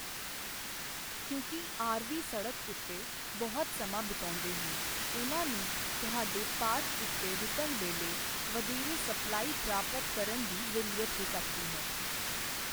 ਕਿਉਂਕਿ ਆਰਵੀਅਰ ਸੜਕ ਉੱਤੇ ਬਹੁਤ ਸਮਾਂ ਬਿਤਾਉਂਦੇ ਹਨ, ਉਨ੍ਹਾਂ ਨੂੰ ਤੁਹਾਡੇ ਪਾਰਕ ਉੱਤੇ ਰੁਕਣ ਵੇਲੇ ਵਧੇਰੇ ਸਪਲਾਈ ਪ੍ਰਾਪਤ ਕਰਨ ਦੀ ਜ਼ਰੂਰਤ ਹੋ ਸਕਦੀ ਹੈ।